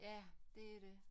Ja det er det